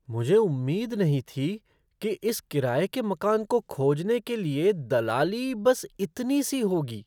मुझे उम्मीद नहीं थी कि इस किराए के मकान को खोजने के लिए दलाली बस इतनी सी होगी!